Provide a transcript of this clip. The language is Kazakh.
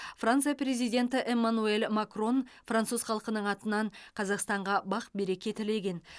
франция президенті эмманюэль макрон француз халқының атынан қазақстанға бақ береке тілеген